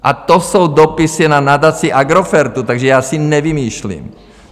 A to jsou dopisy na Nadaci Agrofertu, takže já si nevymýšlím.